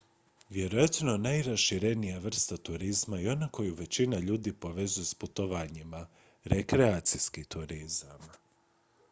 vjerojatno najraširenija vrsta turizma je ona koju većina ljudi povezuje s putovanjima rekreacijski turizam